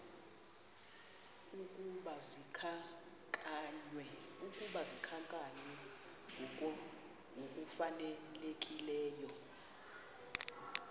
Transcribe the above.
ukuba zikhankanywe ngokufanelekileyo